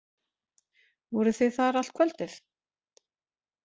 Voruð þið þar allt kvöldið?